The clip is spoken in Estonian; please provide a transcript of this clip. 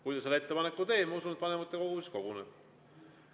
Kui ta selle ettepaneku teeb, siis, ma usun, vanematekogu koguneb.